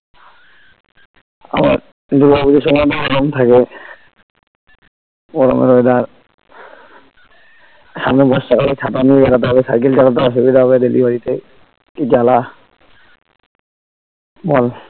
আবার দূর্গা পুজোর সময় তো গরম থাকে গরমের weather সামনে বর্ষাকালে ছাতা নিয়ে বেরোতে হবে cycle চালাতে অসুবিধা হবে delivery তে কি জ্বালা বল